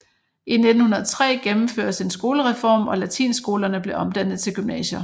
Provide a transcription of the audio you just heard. I 1903 gennemføres en skolereform og latinskolerne blev omdannet til gymnasier